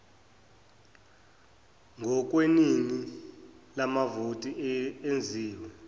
ngokweningi lamavoti enziwe